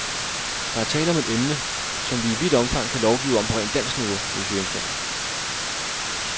Der er tale om et emne, som vi i vidt omfang kan lovgive om på rent dansk niveau, hvis vi ønsker det.